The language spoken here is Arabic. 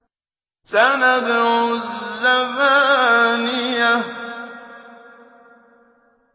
سَنَدْعُ الزَّبَانِيَةَ